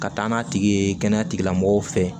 Ka taa n'a tigi ye kɛnɛya tigilamɔgɔw fɛ